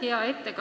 Aitäh!